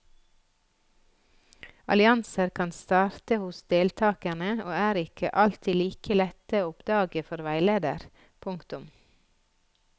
Allianser kan starte hos deltakerne og er ikke alltid like lette å oppdage for veileder. punktum